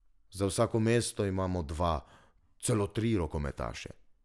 Za vsako mesto imamo dva, celo tri rokometaše.